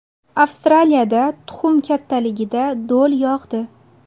Avstraliyada tuxum kattaligida do‘l yog‘di .